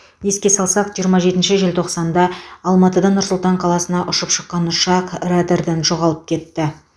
еске салсақ жиырма жетінші желтоқсанда алматыдан нұр сұлтан қаласына ұшып шыққан ұшақ радардан жоғалып кетті